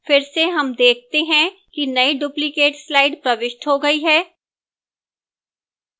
फिर से हम देखते हैं कि नई duplicate slide प्रविष्ट हो गई है